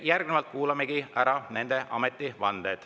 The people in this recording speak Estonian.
Järgnevalt kuulamegi ära nende ametivande.